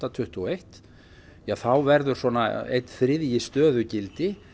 tuttugu og eitt að þá verði svona einn þriðji stöðugildi